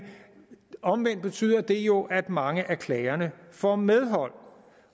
omvendt betyder det jo at mange at klagerne får medhold